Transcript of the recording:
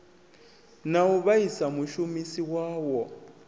na u vhaisa mushumisi wawo